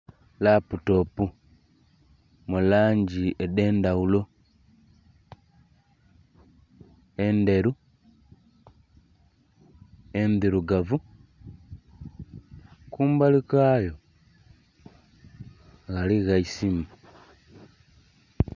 Laputopu mu langi edh'endhaghulo endheru, endhirugavu kumbali kwayo ghaligho eisimu.